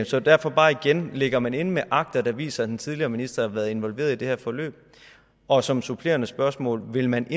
så derfor bare igen ligger man inde med akter der viser at den tidligere minister har været involveret i det her forløb og som supplerende spørgsmål vil man